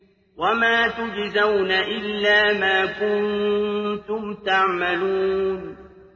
وَمَا تُجْزَوْنَ إِلَّا مَا كُنتُمْ تَعْمَلُونَ